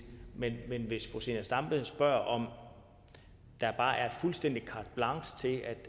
men hvis fru zenia stampe spørger om der bare er fuldstændig carte blanche til at